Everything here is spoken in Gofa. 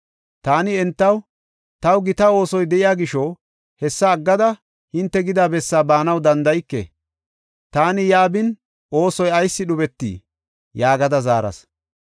Taani entaw, “Taw gita oosoy de7iya gisho hessa aggada hinte gida bessaa baanaw danda7ike. Taani yaa bin, oosoy ayis dhubetii?” yaagada zaaras.